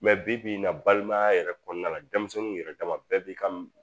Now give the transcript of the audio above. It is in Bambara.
bi bi in na balimaya yɛrɛ kɔnɔna la denmisɛnninw yɛrɛ dama bɛɛ b'i kan